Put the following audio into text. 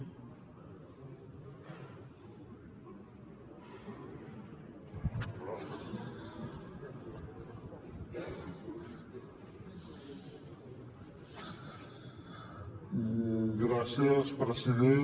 gràcies president